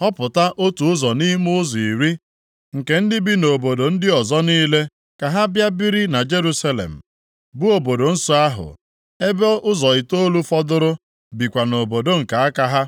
họpụta otu ụzọ nʼime ụzọ iri nke ndị bi nʼobodo ndị ọzọ niile ka ha bịa biri na Jerusalem, bụ obodo nsọ ahụ, ebe ụzọ itoolu fọdụrụ bikwa nʼobodo nke aka ha.